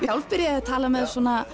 sjálf byrjuð að tala með